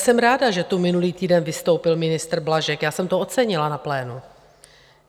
Jsem ráda, že tu minulý týden vystoupil ministr Blažek, já jsem to ocenila na plénu.